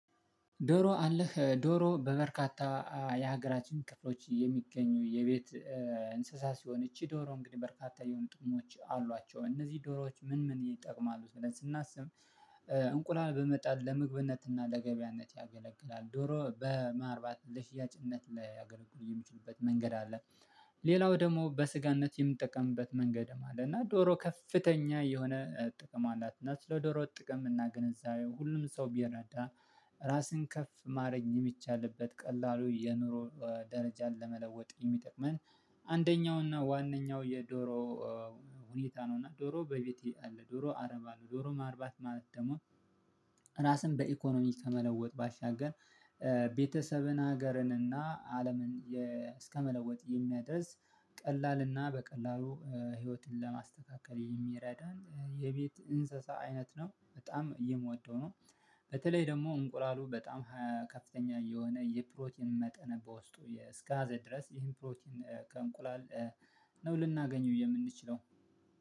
ዶሮ አለህ ዶሮ በበርካታ የሀገራችን ክፍሎች የሚገኙ የቤት እንስሳ ሲሆን ይቺ ዶሮ እንግዲህ በርካታ የሆኑ ጥቅሞች አሏቸው እነዚህ ዶሮዎች ምን ምን ይጠቅማሉ? ስናስብ እንቁላል በመጣት ለምግብነትና ለገበያነት ያገለግላል ዶሮ በማርባት ለሽያጭነት ላይ ያገለግሉ የሚችልበት መንገድ አለ። ሌላው ደግሞ በስጋነት የምጠቀምበት መንገድ ማለት ነው። እና ዶሮ ከፍተኛ የሆነ ጥቅም አላት እና ስለ ዶሮ ጥቅም እና ግንዛቤ ሁሉም ሰው ቢረዳ ራስን ከፍ ማረግ የሚቻልበት ቀላሉ የኑሮ ደረጃን ለመለወጥ የሚጠቅመን አንደኛው እና ዋነኛው የዶሮ ሁኔታ ነው። እና ዶሮ በቤቴ አለ ዶሮ አረብ አለ ዶሮ ማርባት ማለት ደግሞ። ራስን በኢኮኖሚ ከመለወጥ ባሻገር ቤተሰብን ሀገርን እና አለምን እስከመለወጥ የሚያደርስ ቀላልና በቀላሉ ህይወትን ለማስተካከል የሚረዳን የቤት እንስሳ አይነት ነው በጣም የምወደው ነው። በተለይ ደግሞ እንቁላሉ በጣም የሆነ የፕሮቲን መጠን በውስጡ እስከያዘ ድረስ ይህን ፕሮቲን ከእንቁላል ነው ልናገኘው የምንችለው